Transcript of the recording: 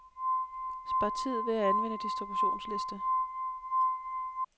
Spar tid ved at anvende distributionsliste.